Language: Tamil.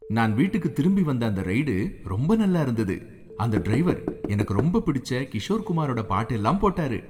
நான் வீட்டுக்குத் திரும்பி வந்த அந்த ரைடு ரொம்ப நல்லா இருந்தது. அந்த டிரைவர் எனக்கு ரொம்பப் பிடிச்ச கிஷோர் குமாரோட பாட்டெலாம் போட்டாரு.